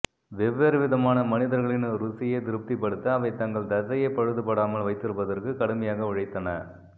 வெவ்வேறு விதமான மனிதர்களின் ருசியை திருப்திப்படுத்த அவை தங்கள் தசையை பழுதுபடாமல் வைத்திருப்பதற்கு கடுமையாக உழைத்தன